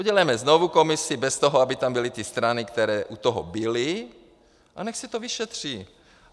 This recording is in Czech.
Udělejme znovu komisi bez toho, aby tam byly ty strany, které u toho byly, a nechť se to vyšetří.